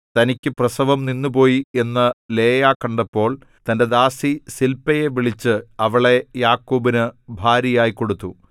തനിക്കു പ്രസവം നിന്നുപോയി എന്നു ലേയാ കണ്ടപ്പോൾ തന്റെ ദാസി സില്പയെ വിളിച്ച് അവളെ യാക്കോബിനു ഭാര്യയായി കൊടുത്തു